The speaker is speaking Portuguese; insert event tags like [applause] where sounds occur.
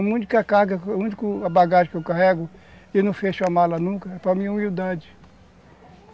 A única carga, a única [unintelligible] bagagem que eu carrego e não fecho a mala nunca é para minha humildade.